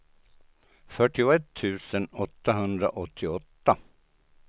fyrtioett tusen åttahundraåttioåtta